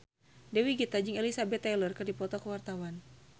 Dewi Gita jeung Elizabeth Taylor keur dipoto ku wartawan